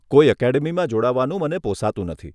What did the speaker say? કોઈ એકેડમીમાં જોડાવાનું મને પોસાતું નથી.